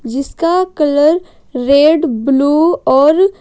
जिसका colour red blue और--